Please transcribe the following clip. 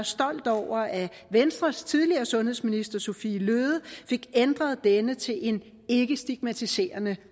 stolt over at venstres tidligere sundhedsminister sophie løhde fik ændret denne til en ikkestigmatiserende